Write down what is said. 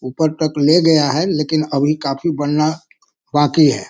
ऊपर तक ले गया है लेकिन अभी काफी बनना बाकी है।